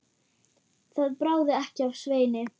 Það bráði ekki af Sveini.